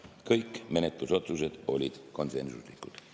Kõik menetlusotsused olid konsensuslikud.